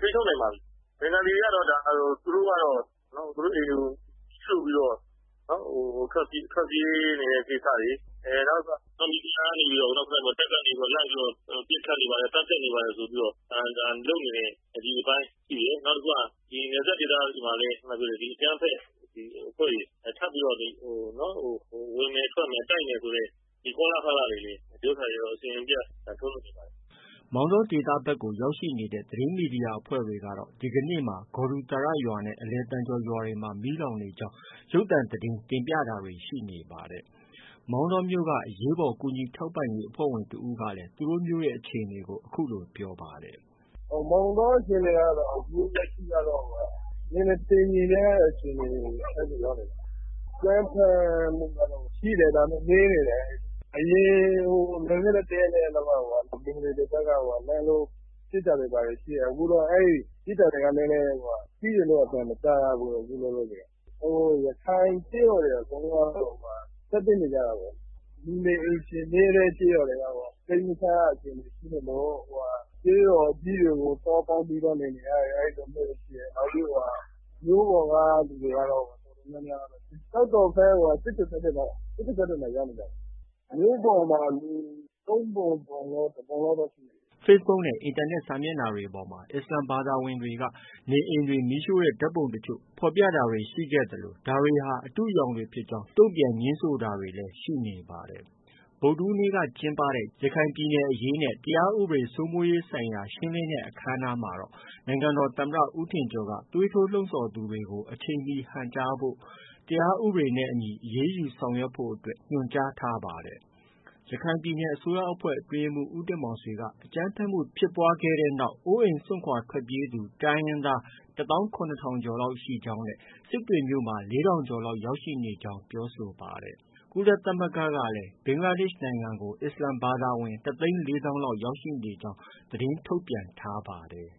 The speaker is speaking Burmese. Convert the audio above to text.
ထိန်းချုပ်နိုင်ပါပြီ။ ဘင်္ဂါလီတွေကတော့ သူတို့ အိမ်တွေကို မီးရှို့ပြီးတော့ ထွက်ပြေးနေတဲ့ကိစ္စတွေ၊ နောက်မီဒီယာကနေပြီးတော့ တပ်ကနေပြီးတော့ လိုက်ပြီးတော့ ပစ်ခတ်နေပါတယ်။ သတ်ဖြတ်နေပါတယ်ဆိုပြီးတော့ လုပ်နေတဲ့ အပိုင်းရှိတယ်။ နောက်တခုက နယ်စပ်ဒေသတွေမှာလည်း အကြမ်းဖက်အဖွဲ့တွေ ထပ်ပြီးတော့ ဝင်မယ် ထွက်မယ် တိုက်မယ်ဆိုတဲ့ ကောလာဟလတွေကတော့ အစဉ်မပြတ်ထုတ်လွှင့်နေပါတယ်။ ” မောင်တောဒေသဖက်ကို ရောက်ရှိနေတဲ့ သတင်းမီဒီယာအဖွဲ့တွေကတော့ ဒီကနေ့မှာ ဂေါ်ဒူသာရရွာနဲ့ အလယ်သံကျော်ရွာတွေမှာ မီးလောင်နေကြောင်း ရုပ်သံသတင်း တင်ပြတာတွေလည်း ရှိနေပါတယ်။ မောင်တောမြို့က အရေးပေါ်ကူညီထောက်ပံ့ရေးအဖွဲ့ဝင်တဦးကလည်း သူတို့ မြို့အခြေအနေကို အခုလို ပြောပါတယ်။ “ မောင်တောအခြေအနေကတော့ အခုက နည်းနည်းတည်ငြိမ်တဲ့အခြေအနေရောက်နေပါတယ်။ အကြမ်းဖက်မှုကတော့ ရှိတယ်။ဒါပေမဲ့ နည်းတယ်။ အရင် တရက်နှစ်ရက်ကတော့ ဘင်္ဂါလီတွေဖက်က လှမ်းလို့ ပစ်တာတွေဘာတွေ ရှိခဲ့တယ်။ အခုတော့ အဲဒီပစ်တာတွေက ရှိတယ်လို့ အသံမကြားရတော့ဘူး။ ရခိုင်ကျေးရွာတွေ အကုန်လုံးကတော့ ထွက်ပြေးနေကြတာပဲ။ လူနေအိမ်ခြေနည်းတဲ့ ကျေးရွာတွေက စိတ်မချရဖြစ်ပြီး ကျေးရွာကြီးတွေကို သွားပြီးတော့ ပေါင်းကြရတာတွေ ရှိတယ်။ မြို့ပေါ်က လူတော်တော်များများကတော့ ကျောက်တော်က၊ စစ်တွေဖက်တွေကို ရောက်နေကြတယ်။ မြို့ပေါ်မှာ လူ ၃ပုံ ၁ပုံလောက်တော့ ရှိတယ်။” Facebook နဲ့ အင်တာနက်စာမျက်နှာတွေပေါ်မှာ အစ္စလာမ်ဘာသာဝင်တွေက နေအိမ်တွေ မီးရှို့တဲ့ ဓါတ်ပုံတချို့ ဖော်ပြကြတာတွေ ရှိနေသလို ဒါတွေဟာ အတုအယောင်တွေဖြစ်ကြောင်း တုံ့ပြန်ငြင်းဆိုတာတွေလည်း ရှိနေပါတယ်။ ဗုဒ္ဓဟူးနေ့က ကျင်းပတဲ့ ရခိုင်ပြည်နယ်အရေးနဲ့ တရားဥပဒေစိုမိုးရေးဆိုင်ရာ ရှင်းလင်းတဲ့ အခမ်းအနားမှာ နိုင်ငံတော်သမ္မတ ဦးထင်ကျော်က သွေးထိုးလှုံဆော်သူတွေကို အချိန်မီဟန့်တားဖို့၊ တရားဥပဒေနဲ့ အညီအရေးယူဖို့ အတွက် ညွှန်ကြားခဲ့ပါတယ်။ ရခိုင်ပြည်နယ် အစိုးရအဖွဲ့ အတွင်းရေးမှုး ဦးတင်မောင်ဆွေကအကြမ်းဖက်မှုဖြစ်ပွားခဲ့တဲ့နောက် အိုးအိမ်စွန့်ခွာထွက်ပြေးနေရသူ တိုင်းရင်းသား ၁သောင်း ၇ထောင်ကျော်လောက်ရှိကြောင်း နဲ့ စစ်တွေမြို့မှာ ၄ထောင်ကျော်လောက် ရောက်ရှိနေကြောင်းပြောဆိုပါတယ်။ ကုလသမဂ္ဂကလည်း ဘင်္ဂလားဒေ့ရှ်နိုင်ငံကိုအစ္စလာမ်ဘာသာဝင် ၁သိန်း၄သောင်းလောက် ရောက်ရှိနေကြောင်း သတင်းထုတ်ပြန်ထားပါတယ်။